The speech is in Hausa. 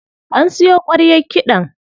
An siyo ƙwaryar kiɗan.